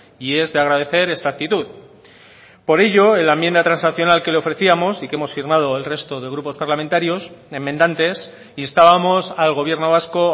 y es de agradecer esta actitud por ello en la enmienda transaccional que le ofrecíamos y que hemos firmado el resto de grupos parlamentarios enmendantes instábamos al gobierno vasco